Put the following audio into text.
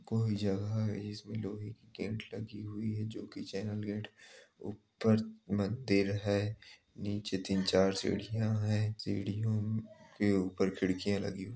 कोई जगह है जिस में लोहे की गेट लगी हुई हैं जो कि चैनल गेट । ऊपर मंदिर है। नीचे तीन चार सीढ़ियाँ हैं। सीढियों म के ऊपर खिड़कियाँ लगी --